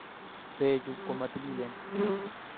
Beechu komatililen